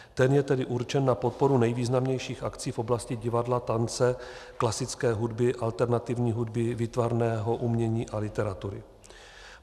Ten je tedy určen na podporu nejvýznamnějších akcí v oblasti divadla, tance, klasické hudby, alternativní hudby, výtvarného umění a literatury.